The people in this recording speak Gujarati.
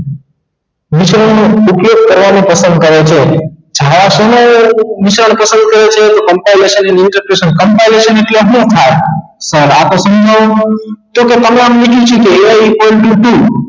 મુસીબત નો ઉકેલ કરવાનો પસંદ કરે છે જાવા સમયે canposesion અને nutrationcamposesion ઍટલે શું થાય તો આ તો સમજાવું તો a equal to be